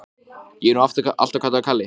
Ég er nú alltaf kallaður Kalli.